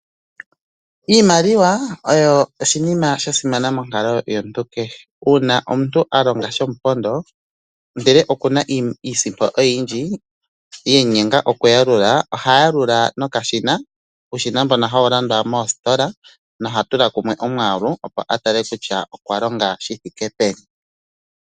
Iimaliwa oyo oshinima sha simana monkalo yomuntu kehe, uuna omuntu a longa shomupondo ndele okuna iisimpo oyindji yemu nyenga oku yalula, oha yalula nokashina. Uushina mbono hawu landwa moositola noha tula kumwe omwaalu opo a tale kutya okwa longa shi thike peni.